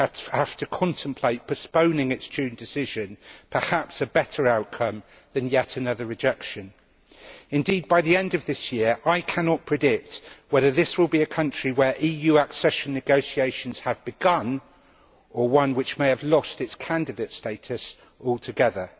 have to contemplate postponing its June decision possibly a better outcome than yet another rejection. Indeed, by the end of this year I cannot predict whether this will be a country in which EU accession negotiations have begun, or one which may have lost its candidate status altogether.